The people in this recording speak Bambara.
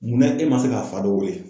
Munna e ma se ka fa dɔ wele?